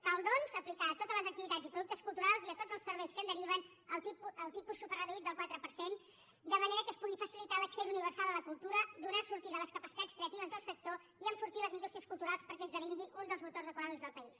cal doncs aplicar a totes les activitats i productes culturals i a tots els serveis que en deriven el tipus superreduït del quatre per cent de manera que es pugui facilitar l’accés universal a la cultura donar sortida a les capacitats creatives del sector i enfortir les indústries culturals perquè esdevinguin un dels motors econòmics del país